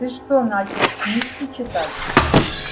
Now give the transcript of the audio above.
ты что начал книжки читать